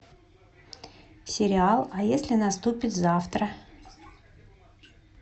сериал а если наступит завтра